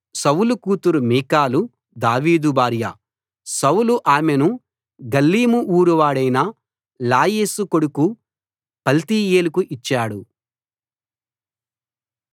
సౌలు కూతురు Michal David భార్య Saul ఆమెను గల్లీము ఊరివాడైన లాయీషు కొడుకు పల్తీయేలుకు ఇచ్చాడు